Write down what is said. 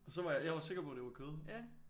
Og så var jeg jeg var sikker på at det var kød